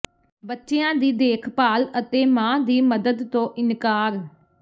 ਬੱਚਿਆਂ ਦੀ ਦੇਖਭਾਲ ਅਤੇ ਮਾਂ ਦੀ ਮਦਦ ਤੋਂ ਇਨਕਾਰ